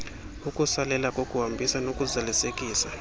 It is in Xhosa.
ukusalela kokuhambisa nokuzalisekisa